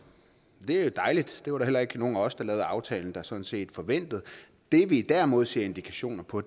det er jo dejligt det var der heller ikke nogen af os der lavede aftalen som sådan set forventede det vi derimod ser indikationer på